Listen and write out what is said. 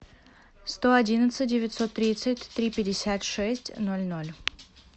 сто одиннадцать девятьсот тридцать три пятьдесят шесть ноль ноль